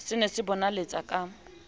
se ne se bonaletsa ka